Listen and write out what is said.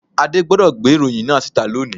Adé gbodò gbé ìròyìn náà síta loni